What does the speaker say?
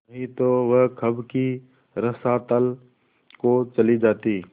नहीं तो वह कब की रसातल को चली जाती